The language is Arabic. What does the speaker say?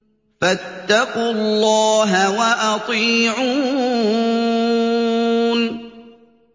فَاتَّقُوا اللَّهَ وَأَطِيعُونِ